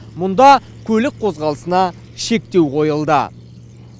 мұнда көлік қозғалысына шектеу қойылды